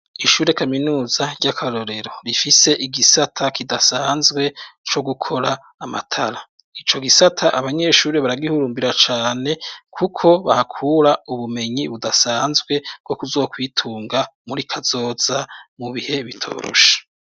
Ishure kaminuza ry'akarorero rifise igisata kidasanzwe co gukora amatara .Ico gisata abanyeshuri baragihurumbira cane kuko bahakura ubumenyi budasanzwe wo kuzokwitunga muri kazoza mu bihe bitoroshe.